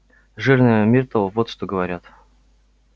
жирная миртл вот что говорят